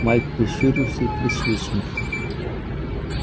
майк прищурился и свистнул